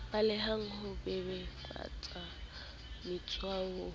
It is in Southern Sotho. balehang ho bebofaletsa motshwai ho